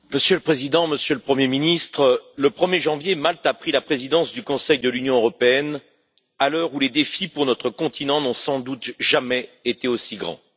Monsieur le Président, Monsieur le Premier ministre, le 1er janvier, Malte a pris la présidence du Conseil de l'Union européenne, à l'heure où les défis pour notre continent n'ont sans doute jamais été aussi grands.